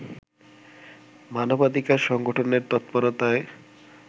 মানবাধিকার সংগঠনের তৎপরতায়